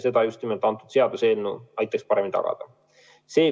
Seda just nimelt see seadus aitaks paremini tagada.